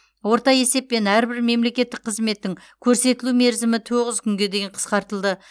орта есеппен әрбір мемлекеттік қызметтің көрсетілу мерзімі тоғыз күнге дейін қысқартылды